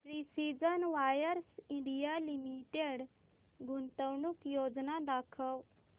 precision wires India limited गुंतवणूक योजना दाखव